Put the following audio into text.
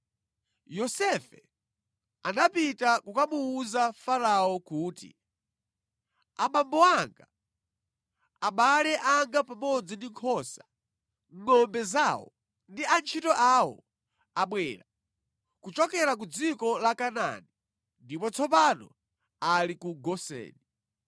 Yosefe anapita kukamuwuza Farao kuti, “Abambo anga, abale anga pamodzi ndi nkhosa, ngʼombe zawo, ndi antchito awo abwera kuchokera ku dziko la Kanaani ndipo tsopano ali ku Goseni.”